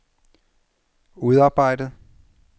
udarbejdet